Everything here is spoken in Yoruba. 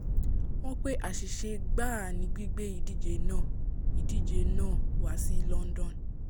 wọ́n pé àṣìṣe gbáà ni gbígbé ìdíje náà ìdíje náà wá sí london